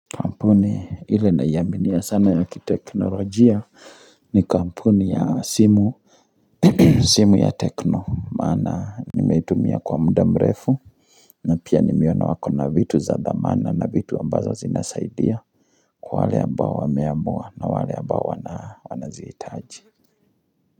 Kampuni ile naiaminia sana ya kiteknolojia ni kampuni ya simu, simu ya tekno. Maana nimetumia kwa muda mrefu na pia nimeona wako na vitu za dhamana na vitu ambazo zinasaidia kwa wale ambao wameamua na wale ambao wanazihitaji.